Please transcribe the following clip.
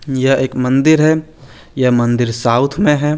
यह एक मंदिर है यह मंदिर साउथ में है।